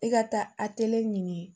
I ka taa atɛliye ɲini